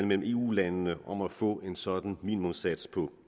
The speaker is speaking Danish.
mellem eu landene om at få en sådan minimumssats for